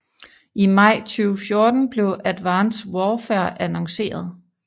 I maj 2014 blev Advanced Warfare annonceret